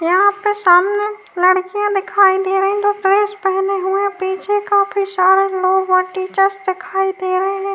यहाँ पे सामने लड़कियां दिखाई दे रही जो ड्रेस पहने हुएं। पीछे काफी सारे लोग व टीचर्स देखाई दे रहे हैं।